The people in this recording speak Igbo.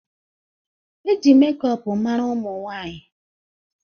E ji mekọp mara ụmụ nwanyị